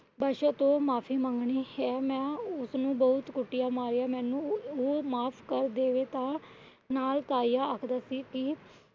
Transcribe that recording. ਪਾਸ਼ੋ ਤੋਂ ਮਾਫ਼ੀ ਮੰਗਣੀ ਹੈ। ਮੈ ਉਸਨੂੰ ਬਹੁਤ ਕੁਟਿਆਂ ਮਾਰਿਆ ਮੈਨੂੰ ਉਹ ਮਾਫ਼ ਕਰ ਦੇਵੇ। ਤਾ ਨਾਲ ਤਾਇਆ ਆਖਦਾ ਸੀ ਕੀ